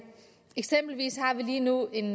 eksempelvis har vi lige nu en